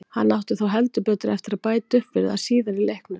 Hann átti þó heldur betur eftir að bæta upp fyrir það síðar í leiknum.